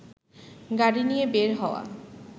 গাড়ি নিয়ে বের হওয়া